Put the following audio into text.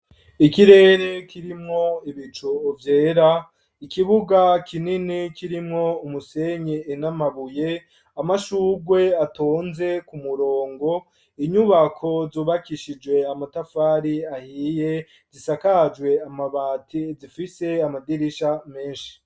Ikirere kirimwo ibico ovyera ikibuga kinini kirimwo umusenye inamabuye amashurwe atonze ku murongo inyubako zubakishije amatafari ahiye zisakajwe amabati zifise amadirisha menshi.